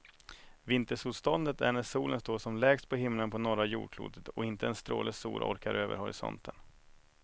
Vintersolståndet är när solen står som lägst på himlen på norra jordklotet och inte en stråle sol orkar över horisonten.